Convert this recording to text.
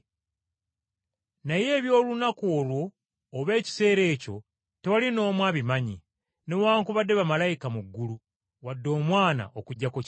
“Naye eby’olunaku olwo oba essaawa tewali n’omu abimanyi, newaakubadde bamalayika mu ggulu wadde Omwana, okuggyako Kitaffe .